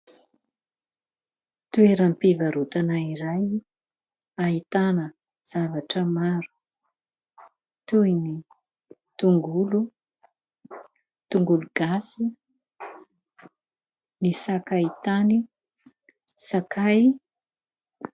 Toeram-pivarotana iray ahitana zavatra maro, toy ny tongolo, tongolo gasy, ny sakaitany, sakay.